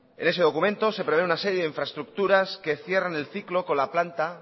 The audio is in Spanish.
en ese documento se prevé una serie de infraestructuras que cierran el ciclo con la planta